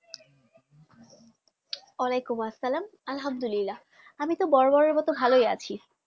ওয়ালাইকুম আসলাম আলহামদুলিল্লাহ আমি তো বরাবরের মতো ভালোই আছি